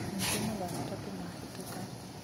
menyithia mathaa matatũ mahĩtũka